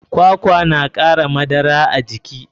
Kwakwa na kara madara a jiki.